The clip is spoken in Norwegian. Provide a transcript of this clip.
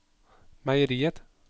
meieriet